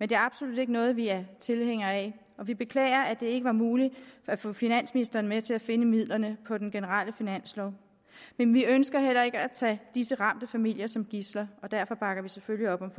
men det er absolut ikke noget vi er tilhængere af og vi beklager at det ikke var muligt at få finansministeren med til at finde midlerne på den generelle finanslov men vi ønsker heller ikke at tage disse ramte familier som gidsler og derfor bakker vi selvfølgelig op om